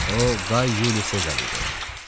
O Qay Yuli Sezar idi.